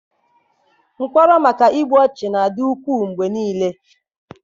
Mkpọrọ maka igbu ọchụ na-adị ukwuu mgbe niile